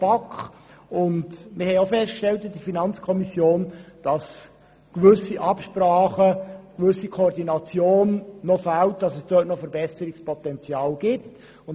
die BaK. Wir haben in der FiKo auch festgestellt, dass eine gewisse Koordination noch fehlt und hier Verbesserungspotenzial besteht.